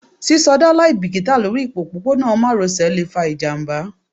sisoda liabikita Lori opopona maròsè le fa ijamba